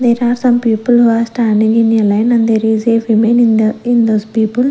there are some people who are standing in the line and there is a woman in the in this people.